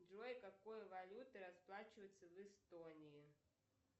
джой какой валютой расплачиваются в эстонии